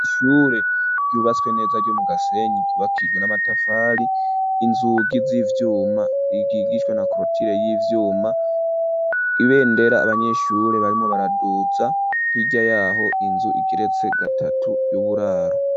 Ishure ryubatswe neza ryomu gasenyi bakijwe n'amatafari inzugi z'ivyuma rikikishwe na korotire y'ivyuma ibendera abanyeshure barimo baraduza nirya yaho inzu ikeretse gatatu yoburaro.